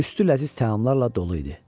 Üstü ləziz təamlarla dolu idi.